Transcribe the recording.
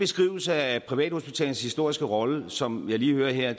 beskrivelse af privathospitalernes historiske rolle som jeg lige hører her